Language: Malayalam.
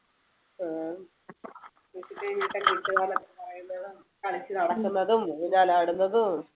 കളിച്ചു നടക്കുന്നതും ഊഞ്ഞാലാടുന്നതും